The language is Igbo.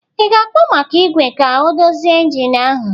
Ị ga-akpọ maka igwe ka ọ dozie engine ahụ?